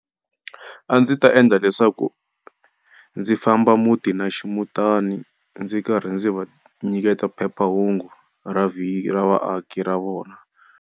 A ndzi ta endla leswaku, ndzi famba muti na ximuntani, ndzi karhi ndzi va nyiketa phephahungu ra ra vaaki ra vona.